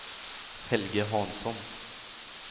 Helge Hansson